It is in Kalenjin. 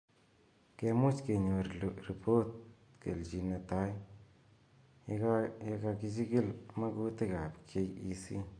Kemuch konyor repot kelchin netai ye kakechikil makutik ab KEC